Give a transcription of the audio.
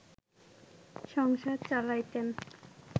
সংসার চালাইতেন